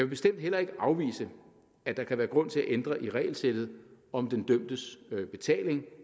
bestemt heller ikke afvise at der kan være grund til at ændre i regelsættet om den dømtes betaling